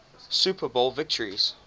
super bowl victories